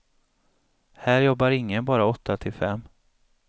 Här jobbar ingen bara åtta till fem.